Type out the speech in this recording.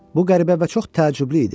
Bu qəribə və çox təəccüblü idi.